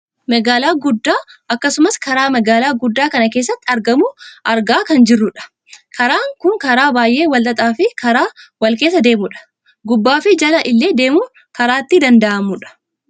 Magaalaa guddaa akkasumas karaa magaalaa guddaa kana keessatti argamuu argaa kan jirrudha. Karaan kun karaa baayyee wal xaxaa fi karaa wal keessa deemudha. Gubbaa fi jala illee deemuun karaa itti danda'amudha.